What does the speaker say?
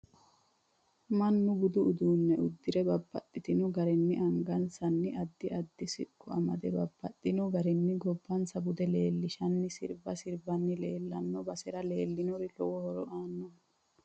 Mannu budu uddanno uddirre babbaxino garinni angasnni addi addi siqqo amadde babaxinno garinni gobbansa bude leelishanno sirbba sirbbani leelanno basera leelanori lowo horo aanoho